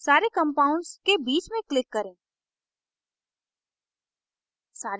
सारे compounds के बीच में click करें